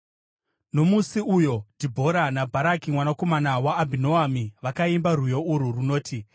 Nomusi uyo Dhibhora naBharaki mwanakomana waAbhinoami vakaimba rwiyo urwu runoti: